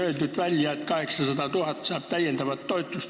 On ju välja öeldud, et Kagu-Eesti saab 800 000 eurot täiendavat toetust.